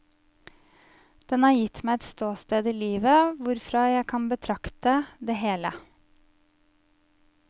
Den har gitt meg et ståsted i livet, hvorfra jeg kan betrakte det hele.